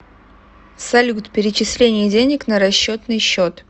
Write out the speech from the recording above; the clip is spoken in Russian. салют перечисление денег на расчетный счет